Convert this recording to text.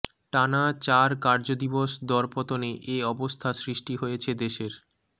টানা চার কার্যদিবস দরপতনে এ অবস্থা সৃষ্টি হয়েছে দেশের